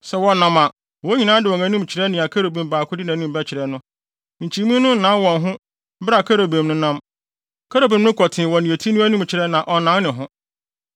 Sɛ wɔnam a, wɔn nyinaa de wɔn anim kyerɛ nea kerubim baako de nʼanim bɛkyerɛ no; nkyimii no nnan wɔn ho bere a kerubim no nam. Kerubim no kɔ tee wɔ nea eti no anim kyerɛ a ɔnnan ne ho.